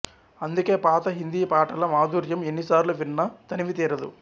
అందుకే పాత హిందీ పాటల మాధుర్యం ఎన్నిసార్లు విన్నా తనివితీరదు